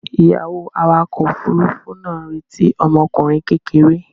Ìyàwó awakọ̀ òfurufú náà ń retí ọmọkùnrin kékeré.